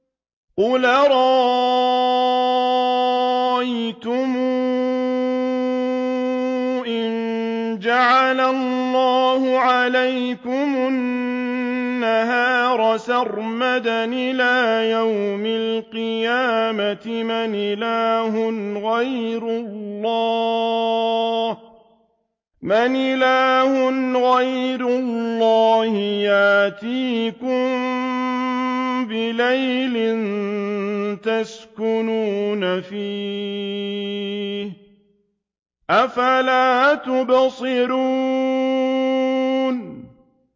قُلْ أَرَأَيْتُمْ إِن جَعَلَ اللَّهُ عَلَيْكُمُ النَّهَارَ سَرْمَدًا إِلَىٰ يَوْمِ الْقِيَامَةِ مَنْ إِلَٰهٌ غَيْرُ اللَّهِ يَأْتِيكُم بِلَيْلٍ تَسْكُنُونَ فِيهِ ۖ أَفَلَا تُبْصِرُونَ